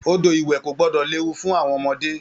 Odò ìwẹ̀ ko gbọdọ léwu fún àwọn ọmọdé.